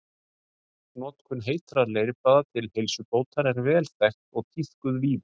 Notkun heitra leirbaða til heilsubótar er vel þekkt og tíðkuð víða.